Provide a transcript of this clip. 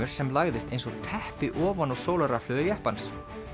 sem lagðist eins og teppi ofan á sólarrafhlöður jeppans